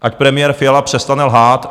Ať premiér Fiala přestane lhát.